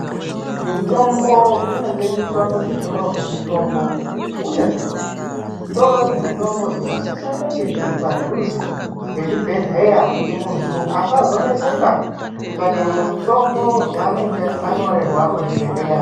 Mitombo inotengwa kuzvitoro zvinotengeswe mitombo uye zvitoro zvemitombo zvinosisa kunge zviri padhuze mezvibhedhlera kuti muntu asazoneseka kutsvake mitombo yaneenge anyorerwa kuzvibhedhlera.